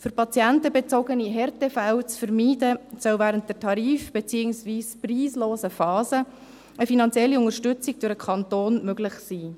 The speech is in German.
Um patientenbezogene Härtefälle zu vermeiden, soll während der tarif- beziehungsweise preislosen Phase eine finanzielle Unterstützung durch den Kanton möglich sein.